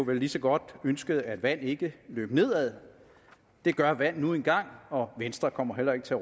man lige så godt kunne ønske at vand ikke løber nedad det gør vand nu engang og venstre kommer heller ikke til